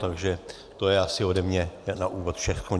Takže to je asi ode mě na úvod všechno.